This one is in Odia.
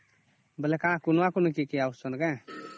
ବୋଲେ କଣ କୁଣିଆ କୁନି କେ ଅସୁଛନ କେ